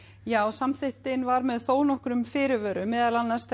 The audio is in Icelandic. samþykktin var þó með þónokkrum fyrirvörum meðal annars